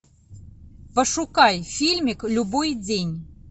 пошукай фильмик любой день